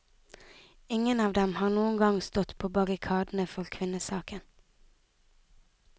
Ingen av dem har noen gang stått på barrikadene for kvinnesaken.